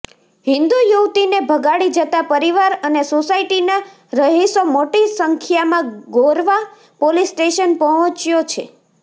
હિંદુ યુવતીને ભગાડી જતાં પરિવાર અને સોસાયટીના રહિશો મોટી સંખ્યામાં ગોરવા પોલીસ સ્ટેશન પહોંચ્યો છે